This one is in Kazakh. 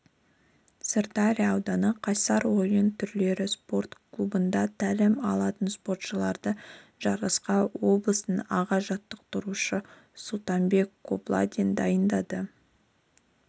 сырдария ауданы қайсар ойын түрлері спорт клубында тәлім алатынспортшыларды жарысқа облыстың аға жаттықтырушысы сұлтанбек қобландин дайындады